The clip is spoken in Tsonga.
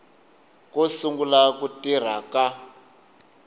ko sungula ku tirha ka